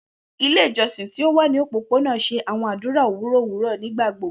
Ile ijọsin ti o wa ni opopona n ṣe awọn adura owurọ owurọ nigbagbogbo.